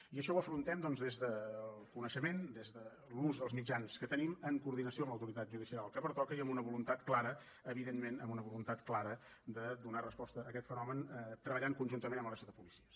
i això ho afrontem doncs des del coneixement des de l’ús dels mitjans que tenim en coordinació amb l’autoritat judicial que pertoca i amb una voluntat clara evidentment amb una voluntat clara de donar resposta a aquest fenomen treballant conjuntament amb la resta de policies